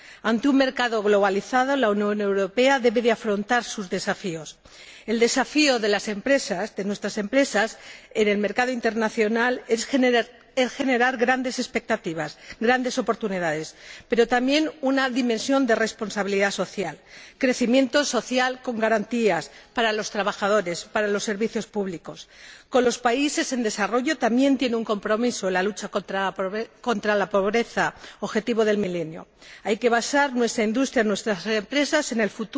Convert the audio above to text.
Ante un mercado globalizado, la Unión Europea debe afrontar sus desafíos. El desafío de las empresas, de nuestras empresas, en el mercado internacional es generar grandes expectativas, grandes oportunidades, pero también les incumbe una dimensión de responsabilidad social crecimiento social con garantías para los trabajadores y para los servicios públicos. Con los países en desarrollo también asumimos un compromiso la lucha contra la pobreza, objetivo del milenio. En el futuro, hay que basar nuestra industria y nuestras empresas en